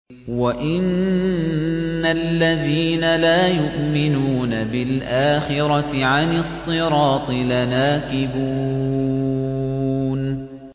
وَإِنَّ الَّذِينَ لَا يُؤْمِنُونَ بِالْآخِرَةِ عَنِ الصِّرَاطِ لَنَاكِبُونَ